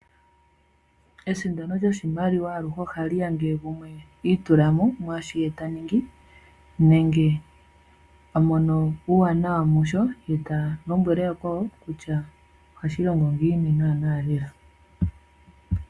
Esindano lyoshimaliwa anuwa ohali ya ngele gumwe ituulamo mwaashi ta ningi, nenge a mono uuwanawa musho, ye ta lombwele yakwawo kutya ohashi longo ngiini naana lela.